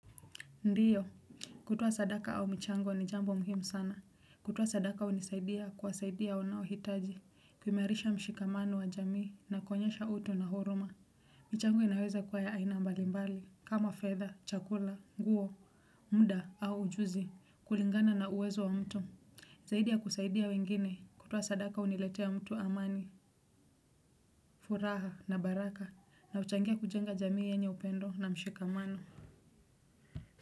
Ndiyo kutoa sadaka au michango ni jambo muhimu sana kutoa sadaka hunisaidia kuwasaidia wanaohitaji kuimarisha mshikamano wa jamii na kuonyesha utu na huruma michango inaweza kuwa ya aina mbalimbali kama fedha chakula nguo muda au ujuzi kulingana na uwezo wa mtu zaidi ya kusaidia wengine kutoa sadaka huletea mtu amani furaha na baraka na huchangia kujenga jamii yenye upendo na mshikamano.